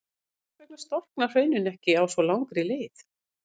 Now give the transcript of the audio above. En hvers vegna storkna hraunin ekki á svo langri leið?